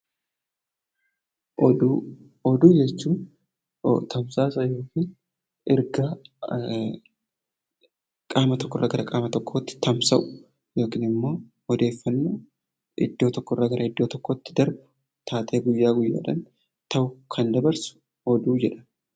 Oduu jechuun tamsaasa yookiin ergaa qaama tokkorraa qaama tokkotti tamsa'u yookiin odeeffannoo iddoo tokkorraa gara biraatti darbu taatee guyyaa guyyaadhaan darbu kan dabarsu oduu jedhama